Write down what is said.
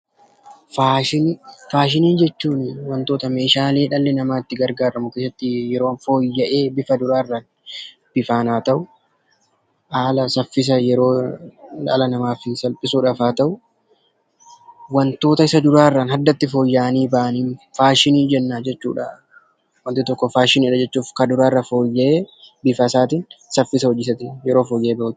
Faashinii Faashina jechuun waantota dhalli namaa itti gargaaramu yeroo fooyya'ee kan duraa irra haaraa ta'u, haala saffisa yeroo dhala namaa kanaaf haa ta'uu, waantota isa duraa irraa fooyya'anii bahaniin faashinii jennaan jechuudha. Meeshaa isaanis, hojii isaanis yeroo bahu faashina jedhama.